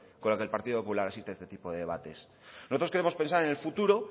con la que el partido popular asiste a este tipo de debate nosotros queremos pensar en el futuro